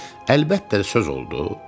Əlbəttə də söz oldu.